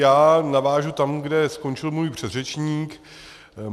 Já navážu tam, kde skončil můj předřečník.